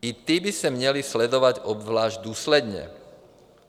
I ti by se měli sledovat obzvlášť důsledně.